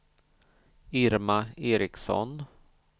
Irma Ericson